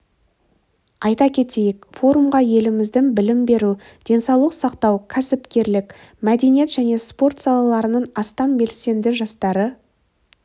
айта кетейік форумға еліміздің білім беру денсаулық сақтау кәсіпкерлік мәдениет және спорт салаларының астам белсенді жастары